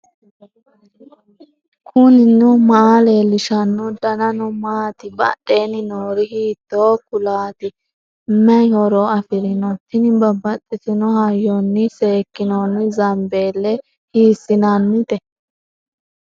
knuni maa leellishanno ? danano maati ? badheenni noori hiitto kuulaati ? mayi horo afirino ? tini babbaxitinno hayyonnni seekkinoonni zambeelle hiiissiinnannite